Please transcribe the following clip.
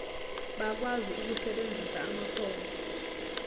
bakwazi ukusebenzisa amakhono